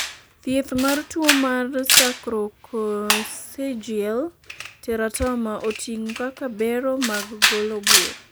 thieth mar tuo mar sacrococcygeal teratoma oting'o koda ka bero mar golo bur